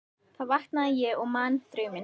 Þá vaknaði ég og man drauminn.